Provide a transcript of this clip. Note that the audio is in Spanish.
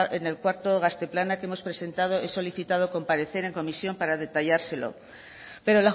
en el cuarto gazte plana que hemos presentado he solicitado comparecer en comisión para detallárselo pero